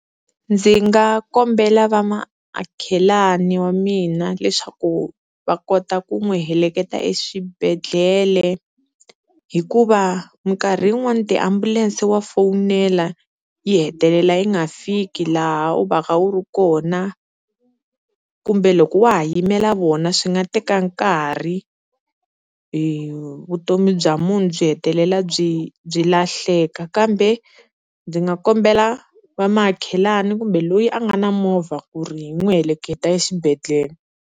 Ndzi nga kombela vamakhelwani wa mina leswaku va kota ku n'wi heleketa eswibedhlele hikuva minkarhi yin'wani tiambulense wa fowunela yi hetelela yi nga fiki laha u va ka u ri kona, kumbe loko wa ha yimela vona swi nga teka nkarhi i vutomi bya munhu byi hetelela byi byi lahleka. Kambe ndzi nga kombela va makhelwani kumbe loyi a nga na movha ku ri hi n'wi heleketa exibedhlele.